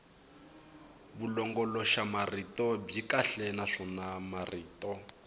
vulongoloxamarito byi kahle naswona marito